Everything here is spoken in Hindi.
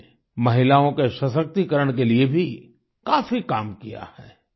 उन्होंने महिलाओं के सशक्तिकरण के लिए भी काफी काम किया है